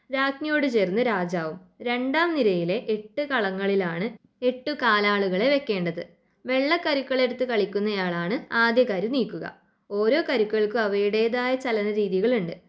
രാജ്ഞിയോട് ചേർന്ന് രാജാവും രണ്ടാം നിരയിലെ എട്ടു കളങ്ങളിലാണ് എട്ടു കാലാളുകളെ വയ്ക്കേണ്ടത്. വെള്ള കരുക്കൾ എടുത്ത് കളിക്കുന്ന ആളാണ് ആദ്യ കരു നീക്കുക. ഓരോ കരുക്കൾക്കും അവയുടേതായ ചലന രീതികളുണ്ട്